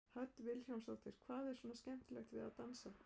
Hödd Vilhjálmsdóttir: Hvað er svona skemmtilegt við að dansa?